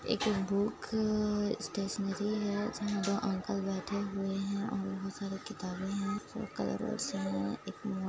एक बुक क-क स्टेशनेरी है जहां पर अंकल बैठे हुए है और बहुत सारे किताबे हैं।